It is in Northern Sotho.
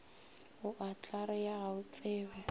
o a tlarea ga otsebe